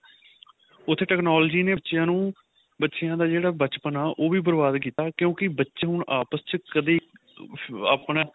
ਉੱਥੇ technology ਨੇ ਬੱਚਿਆਂ ਨੂੰ ਬੱਚਿਆਂ ਦਾ ਜਿਹੜਾ ਬਚਪਨ ਉਹ ਵੀ ਬਰਬਾਦ ਕੀਤਾ ਕਿਉਂਕਿ ਬੱਚੇ ਹੁਣ ਆਪਸ ਚ ਕਦੇ ਆਪਣਾ